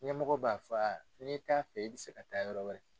ɲɛmɔgɔ b'a fɔ a n'i t'a fɛ i bɛ se ka taa yɔrɔ wɛrɛ.